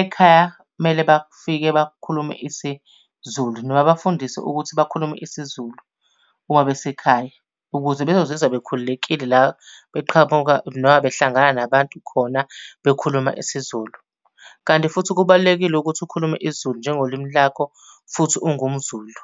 ekhaya mele bafike bakhulume isiZulu. Noma bafundiswe ukuthi bakhulume isiZulu uma besekhaya. Ukuze bezozizwa bekhululekile la beqhamuka noma behlangana nabantu khona bekhuluma isiZulu. Kanti futhi kubalulekile ukuthi ukhulume isiZulu njengolimi lakho, futhi ungumZulu.